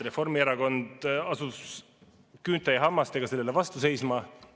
Reformierakond asus küünte ja hammastega sellele vastu seisma.